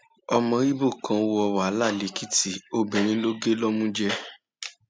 ọmọ ibo kan wọ kan wọ wàhálà lèkìtì obìnrin ló gé lọmú jẹ